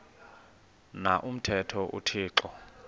na umthetho uthixo